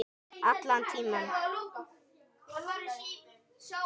Allan tímann.